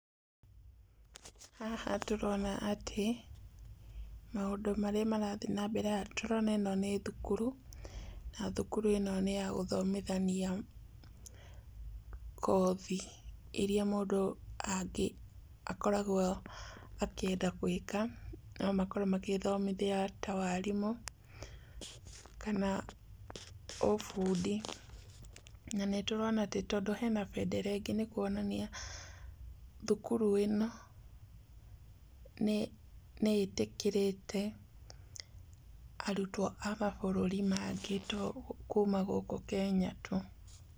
Haha tũrona atĩ maũndũ marĩa marathiĩ na mbere haha tũrona ĩno nĩ thukuru, na thukuru ĩno nĩ ya gũthomithania kothi iria mũndũ akoragwo akĩenda gũĩka, no makorwo magĩthomithia ta warimũ kana ũbundi. Na nĩtũrona atĩ tóndũ hena bendera ĩngĩ nĩ kũonania thukuru ĩno nĩĩtĩkĩrĩte arutwo a mabũrũri mangĩ to kuma gũkũ Kenya tu.